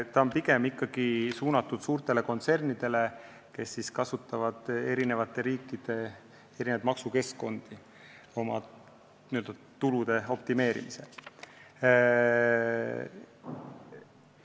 See on pigem ikkagi suunatud suurtele kontsernidele, kes kasutavad eri riikide erinevaid maksukeskkondi oma tulude n-ö optimeerimisel.